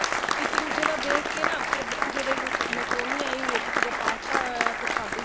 ਇੱਕ ਦੁੱਜੇ ਦਾ ਦੇਖ ਕੇ ਨਾ ਫੇਰ ਕਿਸੇ ਦੇ macaroni ਆਈ ਹੋਈ ਹੈ ਕਿਸੇ ਦਾ ਪਾਸਤਾ ਆਇਆ ਹੋਇਆ ਫੇਰ ਸਾਡੀ